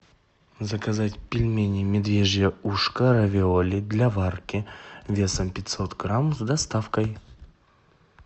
заказать пельмени медвежье ушко равиоли для варки весом пятьсот грамм с доставкой